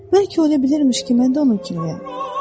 Bəlkə ola bilərmiş ki, mən də onun kimiyəm.